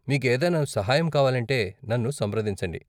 మీకు ఏదైనా సహాయం కావాలంటే నన్ను సంప్రదించండి.